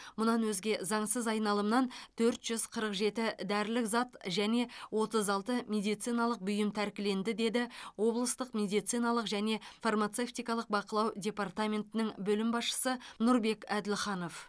мұнан өзге заңсыз айналымнан төрт жүз қырық жеті дәрілік зат және отыз алты медициналық бұйым тәркіленді деді облыстық медициналық және фармацевтикалық бақылау департаментінің бөлім басшысы нұрбек әділханов